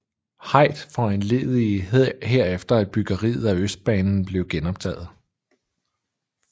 Heydt foranledigede herefter at byggeriet af østbanen blev genoptaget